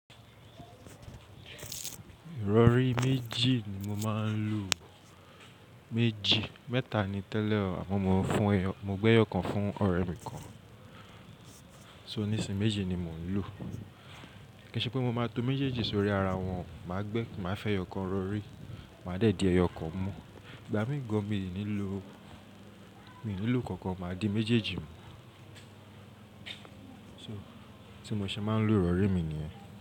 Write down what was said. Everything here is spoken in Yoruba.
Ìrọ̀rí méjì ni mo máa ń lò. Méjì, mẹ́ta ni tẹ́lẹ̀ àmọ́ mo fún, mo gbé ẹyọ kan fún ọ̀rẹ́ mi kan. So nísìnyí méjì ni mò ń lò. Kí n ṣe pé mo máa tó méjèèjì sórí ara wọn, màá gbé, màá fẹ́ ẹyọ kan rọ̀rí, màá dé dí ẹyọ kan mú. Ìgbà mí ń gan mi ò ní lò, mi ò ní lò kankan, màá di méjèèjì mú. So tí mo ṣe máa ń lò ìrọ̀rí mi nìyẹn.